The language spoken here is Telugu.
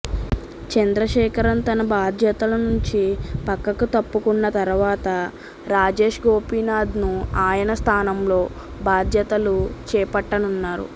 చంద్రశేఖరన్ తన బాధ్యతల నుం చి పక్కకు తప్పుకున్న తర్వాత రాజేష్ గోపినాథ్ను ఆయన స్థానంలో బాధ్యతలు చేపట్టనున్నారు